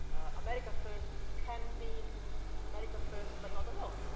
America First can mean America first but not alone.